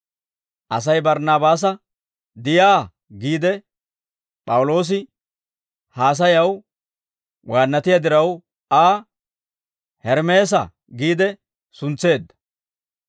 Asay Barnaabaasa, «Diyaa» giide, P'awuloosi haasayaw waannatiyaa diraw, Aa, «Hermeesa» giide suntseedda.